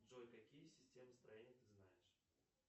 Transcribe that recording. джой какие системы строения ты знаешь